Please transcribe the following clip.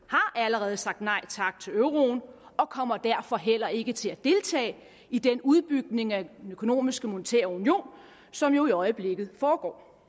har allerede sagt nej tak til euroen og kommer derfor heller ikke til at deltage i den udbygning af den økonomiske og monetære union som jo i øjeblikket foregår